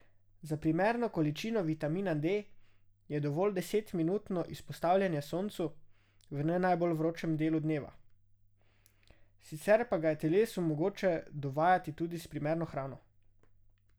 Za primerno količino vitamina D je dovolj deset minutno izpostavljanje soncu v ne najbolj vročem delu dneva, sicer pa ga je telesu mogoče dovajati tudi s primerno hrano.